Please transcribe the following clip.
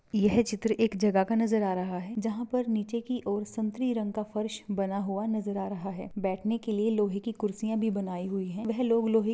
यह चित्र एक जगह का नजर आ रहा है जहाँ पर नीचे की ओर संतरी रंग का फर्श बना हुआ नजर आ रहा हैं बैठने के लिए लोहे की कुर्सियाँ भी बनाई हुई हैं वह लोग लोहे की--